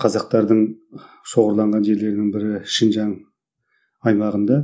қазақтардың шоғырланған жерлерінің бірі шынжаң аймағында